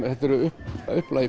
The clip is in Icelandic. þetta eru upphaflega